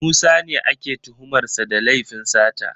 Musa ne ake tuhumar sa da laifin sata